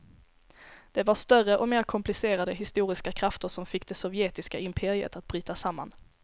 Det var större och mer komplicerade historiska krafter som fick det sovjetiska imperiet att bryta samman.